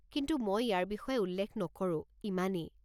কিন্তু মই ইয়াৰ বিষয়ে উল্লেখ নকৰোঁ, ইমানেই।